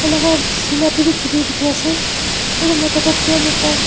tai laga sina teh bhi chuli dikhi ase aro mota toh pant ekta.